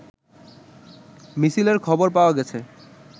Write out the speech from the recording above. মিছিলের খবর পাওয়া গেছে